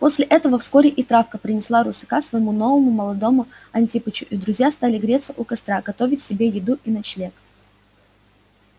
после того вскоре и травка принесла русака своему новому молодому антипычу и друзья стали греться у костра готовить себе еду и ночлег